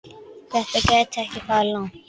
Þetta gæti farið langt.